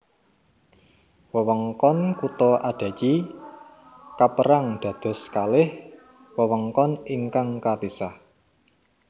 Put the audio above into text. Wewengkon kutha Adachi kapérang dados kalih wewengkon ingkang kapisah